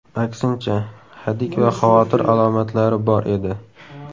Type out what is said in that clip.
Aksincha, hadik va xavotir alomatlari bor edi.